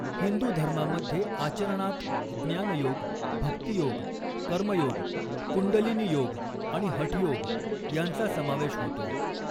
हिंदू धर्मामध्ये आचरणांत ज्ञानयोग, भक्तीयोग, कर्मयोग, कुंडलिनी योग आणि हठयोग यांचा समावेश होतो.